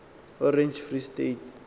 orange free state